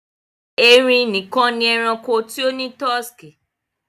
Ẹrìn níkan ni ẹ̀ràṇkò tí ó ni tọsíkí.